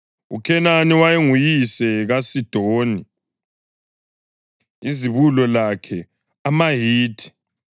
UKhenani wayenguyise kaSidoni izibulo lakhe, amaHithi,